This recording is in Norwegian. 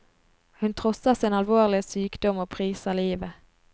Hun trosser sin alvorlige sykdom og priser livet.